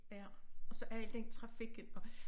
Ja og så alt den trafikken og